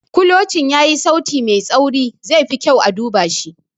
Kulocin yayi sauti mai tsauri - zai fi kyau a duba shi.